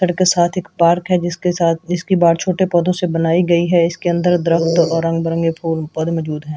सड़क के साथ एक पार्क है जिसके साथ जिसकी बाढ़ छोटे पौधों से बनाई गई है इसके अंदर दरख़्त और रंग बिरंगे --